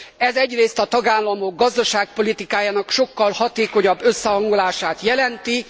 Ez egyrészt a tagállamok gazdaságpolitikájának sokkal hatékonyabb összehangolását jelenti.